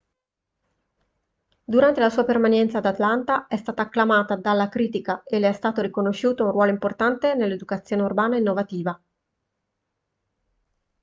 durante la sua permanenza ad atlanta è stata acclamata dalla critica e le è stato riconosciuto un ruolo importante nell'educazione urbana innovativa